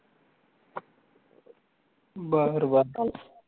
बर